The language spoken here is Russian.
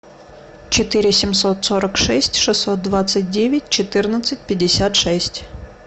четыре семьсот сорок шесть шестьсот двадцать девять четырнадцать пятьдесят шесть